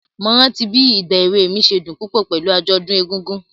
Mo rántí bí ìgba èwe mi ṣe dùn púpọ̀ pẹ̀lú àjọ̀dún egúngún.